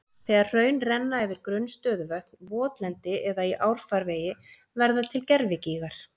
Þegar hraun renna yfir grunn stöðuvötn, votlendi eða í árfarvegi verða til gervigígar.